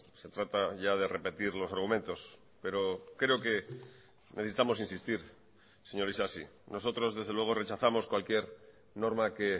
se trata ya de repetir los argumentos pero creo que necesitamos insistir señor isasi nosotros desde luego rechazamos cualquier norma que